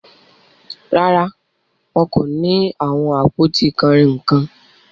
Rárá, wọn kò ni awọn apọ̀tí kanrínnkan.